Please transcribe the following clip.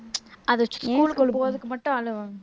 அது school குள்ள போறதுக்கு மட்டும்